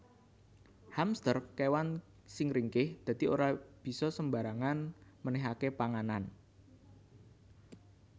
Hamster kewan sing ringkih dadi ora bisa sembarangan menehake panganan